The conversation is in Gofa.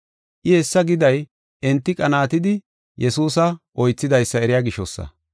I hessa giday enti qanaatidi Yesuusa oythidaysa eriya gishosa.